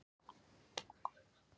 Haukur: Tekurðu í prjónana ennþá?